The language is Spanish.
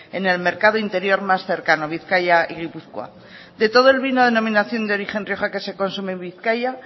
en el mercado interior más cercano bizkaia y gipuzkoa de todo el vino denominación de origen rioja que se consume en bizkaia